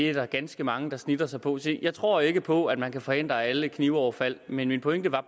er der ganske mange der snitter sig på jeg tror ikke på at man kan forhindre alle knivoverfald men min pointe var